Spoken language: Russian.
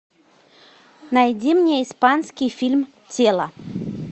найди мне испанский фильм тело